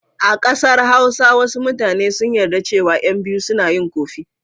A ƙasar Hausa wasu mutane sun yarda cewa ƴan biyu suna yi ƙofi.